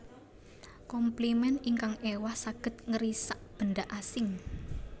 Komplimen ingkang éwah saged ngrisak benda asing